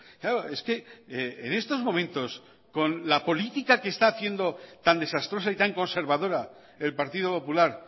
claro es que en estos momentos con la política que está haciendo tan desastrosa y tan conservadora el partido popular